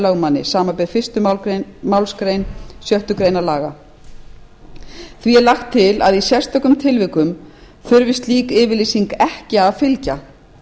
lögmanni samanber fyrstu málsgrein sjöttu grein laganna því er lagt til að í sérstökum tilvikum þurfti slík yfirlýsing ekki að fylgja